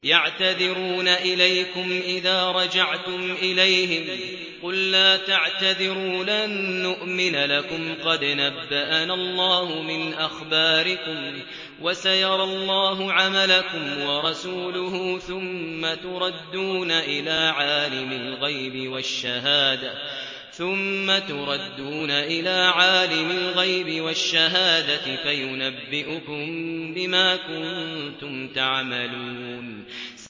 يَعْتَذِرُونَ إِلَيْكُمْ إِذَا رَجَعْتُمْ إِلَيْهِمْ ۚ قُل لَّا تَعْتَذِرُوا لَن نُّؤْمِنَ لَكُمْ قَدْ نَبَّأَنَا اللَّهُ مِنْ أَخْبَارِكُمْ ۚ وَسَيَرَى اللَّهُ عَمَلَكُمْ وَرَسُولُهُ ثُمَّ تُرَدُّونَ إِلَىٰ عَالِمِ الْغَيْبِ وَالشَّهَادَةِ فَيُنَبِّئُكُم بِمَا كُنتُمْ تَعْمَلُونَ